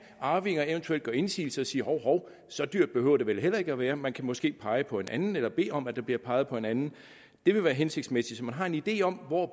arvinger eventuelt gøre indsigelse og sige hov hov så dyrt behøver det vel heller ikke at være man kan måske pege på en anden eller bede om at der bliver peget på en anden det vil være hensigtsmæssigt så man har en idé om hvor